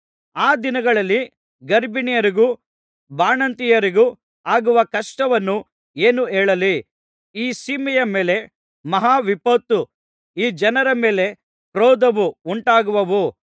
ಆ ದಿನಗಳಲ್ಲಿ ಗರ್ಭಿಣಿಯರಿಗೂ ಬಾಣಂತಿಯರಿಗೂ ಆಗುವ ಕಷ್ಟವನ್ನು ಏನು ಹೇಳಲಿ ಈ ಸೀಮೆಯ ಮೇಲೆ ಮಹಾವಿಪತ್ತೂ ಈ ಜನರ ಮೇಲೆ ಕ್ರೋಧವು ಉಂಟಾಗುವವು